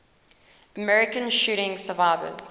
american shooting survivors